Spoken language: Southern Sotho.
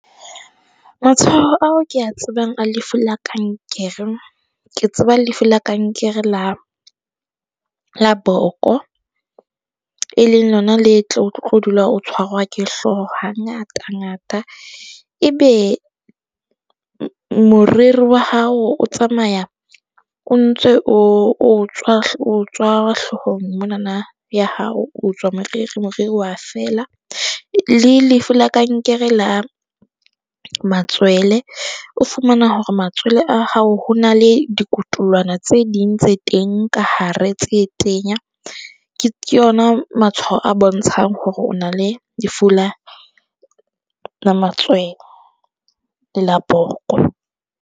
Matshwao ao ke a tsebang a lefu la kankere. Ke tseba lefu la kankere la la boko e leng lona le tlo o tlo dula o tshwarwa ke hlooho hangata-ngata e be moriri wa hao o tsamaya o ntse o tswa, o tswa hloohong mo na na ya hao o tswa moriri, moriri wa fela. Le lefu la kankere la matswele o fumana hore matswele a hao ho na le dikotolwana tse ding tse teng ka hare tse tenya. Ke yona matshwao a bontshang hore o na le lefu la matswele le la boko.